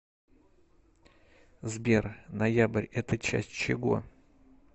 сбер ноябрь это часть чего